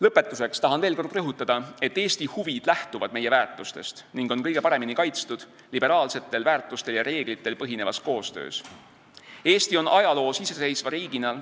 Lõpetuseks tahan veel kord rõhutada, et Eesti huvid lähtuvad meie väärtustest ning on kõige paremini kaitstud liberaalsetel väärtustel ja reeglitel põhinevas koostöös.